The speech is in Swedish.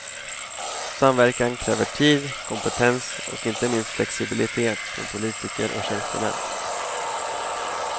Samverkan kräver tid, kompetens och inte minst flexibilitet från politiker och tjänstemän.